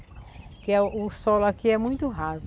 Porque o solo aqui é muito raso.